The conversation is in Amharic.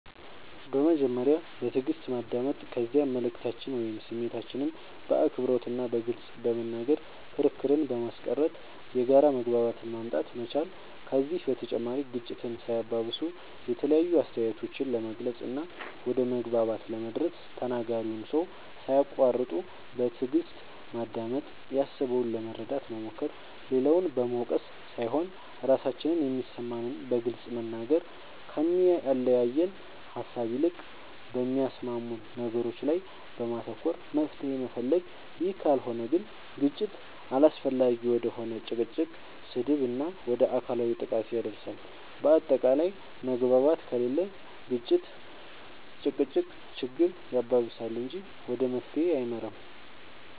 በመጀመሪያ በትእግስት ማዳመጥ ከዚያ መልእክታችንን ወይም ስሜታችንን በአክብሮት እና በግልፅ በመናገር ክርክርን በማስቀረት የጋራ መግባባትን ማምጣት መቻል ከዚህ በተጨማሪ ግጭትን ሳያባብሱ የተለያዩ አስተያየቶችን ለመግለፅ እና ወደ መግባባት ለመድረስ ተናጋሪውን ሰው ሳያቁዋርጡ በትእግስት ማዳመጥ ያሰበውን ለመረዳት መሞከር, ሌላውን በመውቀስ ሳይሆን ራሳችን የሚሰማንን በግልፅ መናገር, ከሚያለያየን ሃሳብ ይልቅ በሚያስማሙን ነገሮች ላይ በማተኮር መፍትሄ መፈለግ ይህ ካልሆነ ግን ግጭት አላስፈላጊ ወደ ሆነ ጭቅጭቅ, ስድብ እና ወደ አካላዊ ጥቃት ያደርሳል በአታቃላይ መግባባት ከሌለ ግጭት(ጭቅጭቅ)ችግር ያባብሳል እንጂ ወደ መፍትሄ አይመራም